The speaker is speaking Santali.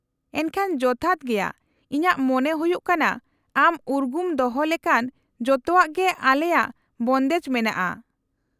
-ᱮᱱᱠᱷᱟᱱ ᱡᱚᱛᱷᱟᱛ ᱜᱮᱭᱟ ᱾ ᱤᱧᱟᱹᱜ ᱢᱚᱱᱮ ᱦᱩᱭᱩᱜ ᱠᱟᱱᱟ ᱟᱢ ᱩᱨᱜᱩᱢ ᱫᱚᱦᱚ ᱞᱮᱠᱟᱱ ᱡᱚᱛᱚᱣᱟᱜ ᱜᱮ ᱟᱞᱮᱭᱟᱜ ᱵᱚᱱᱫᱮᱡ ᱢᱮᱱᱟᱜᱼᱟ ᱾